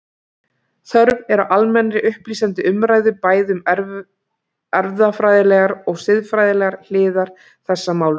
Þörf er á almennri, upplýsandi umræðu bæði um erfðafræðilegar og siðfræðilegar hliðar þessa máls.